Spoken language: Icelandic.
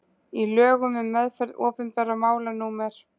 í lögum um meðferð opinberra mála númer